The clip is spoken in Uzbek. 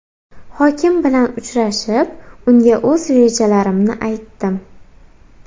Hokim bilan uchrashib, unga o‘z rejalarimni aytdim.